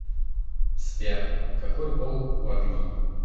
сбер какой пол у агни